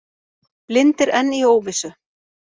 Blindir enn í óvissu